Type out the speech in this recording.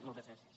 moltes gràcies